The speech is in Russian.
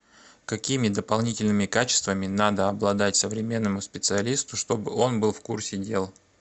какими дополнительными качествами надо обладать современному специалисту чтобы он был в курсе дел